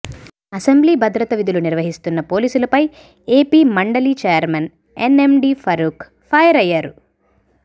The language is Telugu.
అసెంబ్లీ భద్రత విధులు నిర్వహిస్తున్న పోలీసులపై ఏపీ మండలి చైర్మన్ ఎన్ఎండీ ఫరూక్ ఫైర్ అయ్యారు